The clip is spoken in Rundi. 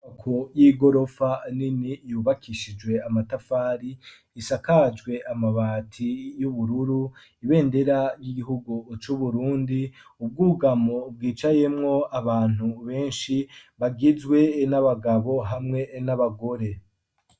Ku y'igorofa nini yubakishijwe amatafari ,isakajwe amabati yubururu, ibendera ry'igihugu c'Uburundi, ubwugamo bwicayemwo abantu benshi bagizwe n'abagabo hamwe n'abagore.